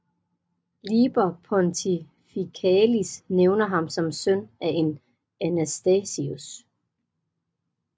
Liber Pontificalis nævner ham som søn af en Anastasius